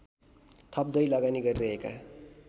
थप्दै लगानी गरिरहेका